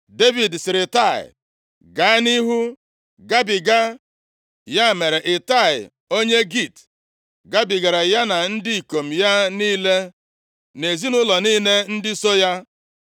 Devid sịrị Itai, “Gaa nʼihu, gabiga.” Ya mere Itai, onye Git gabigara ya na ndị ikom ya niile, na ezinaụlọ niile ndị so ya.